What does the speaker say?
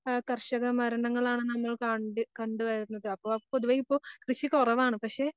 ആഹ് കർഷക മരണങ്ങളാണല്ലോ കാണണ്ടി, കണ്ടുവരുന്നത്. അപ്പൊ പൊതുവേയിപ്പോ കൃഷി കുറവാണ്. പക്ഷേ,